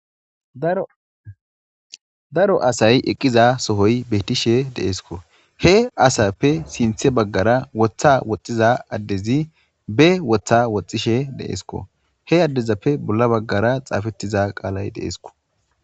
ddaro asay eqqiza sohoy bettishe deeesko he asappe sinthe baggara wotha woxxiza addezi be wotha woxxishe deesko he addezappe bolla baggara xaafettiza qaalay deeesko